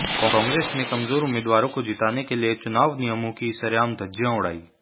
कांग्रेस ने कमजोर उम्मीदवारों को जिताने के लिये चुनाव नियमों की सरेआम धज्जियां उड़ाईं